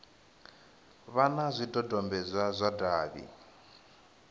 vha na zwidodombedzwa zwa davhi